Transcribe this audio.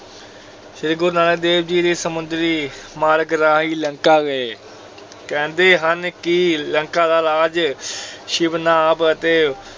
ਸ੍ਰੀ ਗੁਰੂ ਨਾਨਕ ਦੇਵ ਜੀ ਦੀ ਸਮੁੰਦਰੀ ਮਾਰਗ ਰਾਹੀਂ ਲੰਕਾ ਗਏ, ਕਹਿੰਦੇ ਹਨ ਕਿ ਲੰਕਾ ਦਾ ਰਾਜ ਸ਼ਿਵਨਾਭ ਅਤੇ